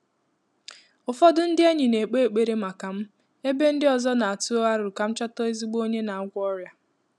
Ụ́fọ́dụ́ ndị́ ényì nà-ékpé ékpèré màkà m, ébé ndị́ ọ́zọ́ nà-àtụ́ àrò kà m chọ́tà ézígbo ọ́nyé nà-àgwọ́ ọ́rị́à.